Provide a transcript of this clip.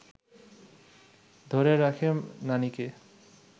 ধরে রাখে নানিকে